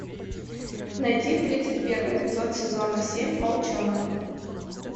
найти тридцать первый эпизод сезона семь волчонок